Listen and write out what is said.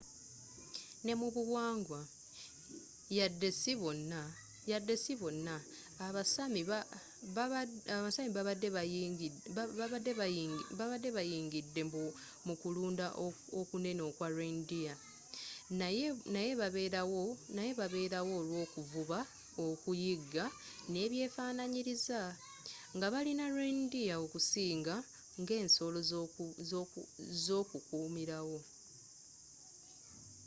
n'emubuwangwa yadde sibona aba sami babadde benyigidde mu kulunda okunene okwa reindeer naye babeerawo olw'okuvuba okuyigga n'ebyefananyiriza nga balina reindeer okusinga nga ensolo zo kumilawo